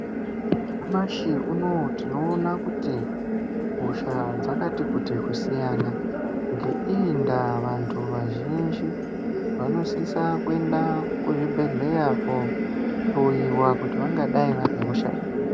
Nyamashi unouyu tinoona kuti hosha dzakati kuti kusiyana. Ngeiyi ndaa vantu vazhinji vanosisa kuenda kuzvibhedhleya kohloiwa kuti vangadai vane hosha iri.